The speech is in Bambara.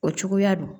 O cogoya don